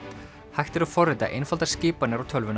hægt er að forrita einfaldar skipanir á tölvuna